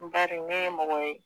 Bari ne ye mɔgɔ ye.